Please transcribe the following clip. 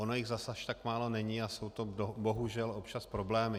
Ono jich zas až tak málo není a jsou to bohužel občas problémy.